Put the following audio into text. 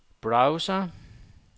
browser